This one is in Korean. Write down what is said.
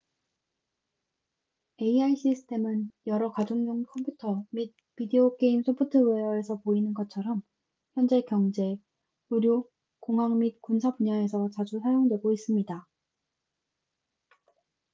ai 시스템은 여러 가정용 컴퓨터 및 비디오 게임 소프트웨어에서 보이는 것처럼 현재 경제 의료 공학 및 군사 분야에서 자주 사용되고 있습니다